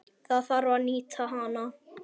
Það þarf að nýta hana.